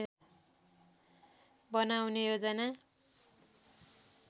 बनाउने योजना